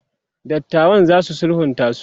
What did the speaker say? dattawan zasu sulhunta su?